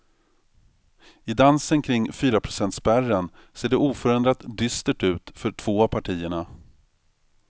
I dansen kring fyraprocentspärren ser det oförändrat dystert ut för två av partierna.